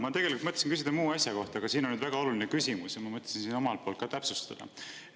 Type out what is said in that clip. Ma tegelikult mõtlesin küsida muu asja kohta, aga siin on nüüd väga oluline küsimus ja ma mõtlesin seda omalt poolt ka täpsustada.